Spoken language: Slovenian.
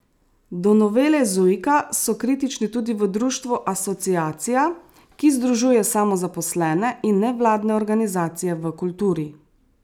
Do novele Zujika so kritični tudi v društvu Asociacija, ki združuje samozaposlene in nevladne organizacije v kulturi.